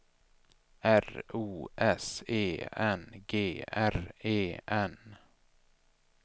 R O S E N G R E N